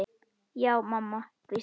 Já mamma, hvísla ég.